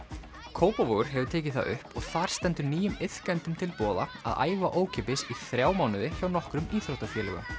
Kópavogur hefur tekið það upp og þar stendur nýjum iðkendum til boða að æfa ókeypis í þrjá mánuði hjá nokkrum íþróttafélögum